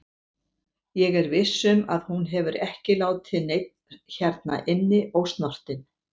Ég er viss um að hún hefur ekki látið neinn hérna inni ósnortinn.